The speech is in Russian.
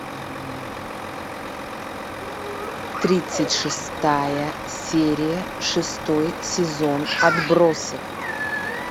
тридцать шестая серия шестой сезон отбросы